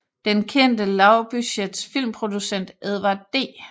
Den kendte lavbudgets filmproducent Edward D